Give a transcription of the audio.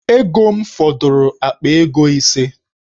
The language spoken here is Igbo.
Ego m fọdụrụ akpa ego ise.